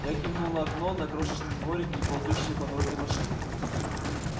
я кивнул на окно на крошечный дворик и ползущие по дороге машины